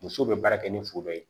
Musow be baara kɛ ni foro ye